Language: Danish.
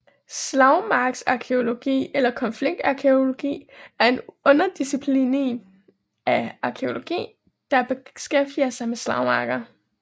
Slagmarksarkæologi eller konfliktarkæologi er en underdisciplin af arkæologi der beskæftiger sig med slagmarker